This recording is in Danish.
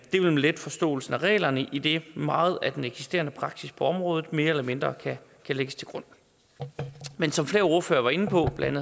vil nemlig lette forståelsen af reglerne idet meget af den eksisterende praksis på området mere eller mindre kan lægges til grund men som flere ordførere var inde på blandt